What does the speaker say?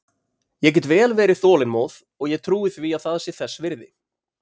Ég get vel verið þolinmóð og ég trúi því að það sé þess virði.